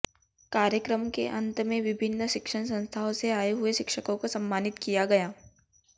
कार्यक्रम के अंत में विभिन शिक्षण संस्थानों से आये हुए शिक्षकों को सम्मानित किया गया